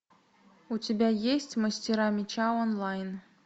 у тебя есть мастера меча онлайн